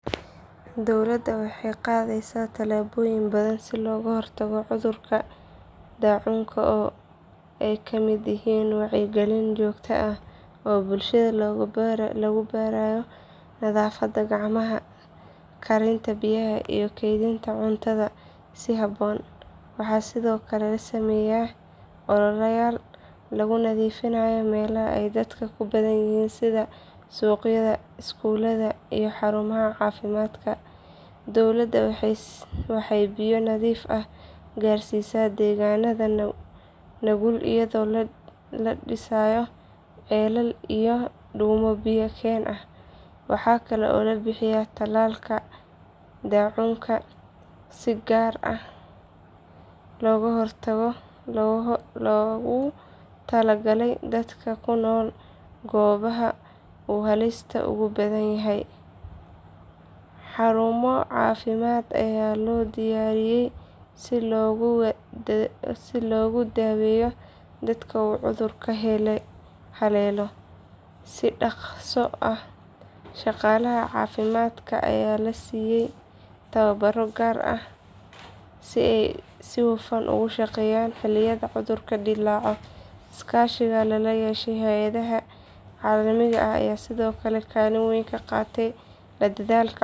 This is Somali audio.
Dowladda waxay qaadaysaa tallaabooyin badan si looga hortago cudurka daacuunka oo ay ka mid yihiin wacyigelin joogto ah oo bulshada lagu barayo nadaafadda gacmaha, karinta biyaha iyo kaydinta cuntada si habboon. Waxaa sidoo kale la sameeyaa ololayaal lagu nadiifinayo meelaha ay dadka ku badan yihiin sida suuqyada, iskuulada iyo xarumaha caafimaadka. Dowladda waxay biyo nadiif ah gaarsiisaa deegaanada nugul iyadoo la dhisayo ceelal iyo dhuumo biyo keen ah. Waxaa kale oo la bixiyaa tallaalka daacuunka si gaar ah loogu tala galay dadka ku nool goobaha uu halista ugu badan yahay. Xarumo caafimaad ayaa loo diyaariyay si loogu daweeyo dadka uu cudurku haleelo si dhaqso ah. Shaqaalaha caafimaadka ayaa la siiyaa tababaro gaar ah si ay si hufan ugu shaqeeyaan xilliyada cudurku dillaaco. Iskaashi lala yeesho hay’adaha caalamiga ah ayaa sidoo kale kaalin weyn ka qaata la dagaalanka cudurkan.